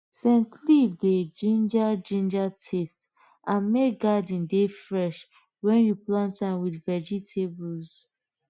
scent leaf dey ginger ginger taste and make garden dey fresh when you plant am with vegetables